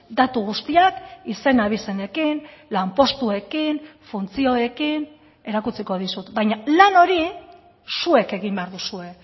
datu guztiak izen abizenekin lanpostuekin funtzioekin erakutsiko dizut baina lan hori zuek egin behar duzue